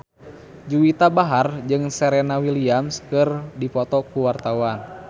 Juwita Bahar jeung Serena Williams keur dipoto ku wartawan